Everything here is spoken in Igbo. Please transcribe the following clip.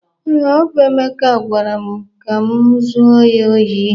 Ee, ọ bụ Emeka gwara m ka m zuo ya ohi